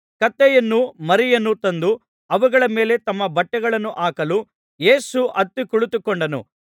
ಕತ್ತೆಯನ್ನೂ ಮರಿಯನ್ನೂ ತಂದು ಅವುಗಳ ಮೇಲೆ ತಮ್ಮ ಬಟ್ಟೆಗಳನ್ನು ಹಾಕಲು ಯೇಸು ಹತ್ತಿ ಕುಳಿತುಕೊಂಡನು